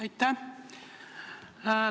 Aitäh!